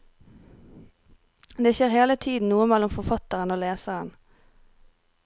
Det skjer hele tiden noe mellom forfatteren og leseren.